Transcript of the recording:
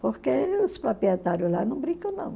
Porque os proprietários lá não brincam, não.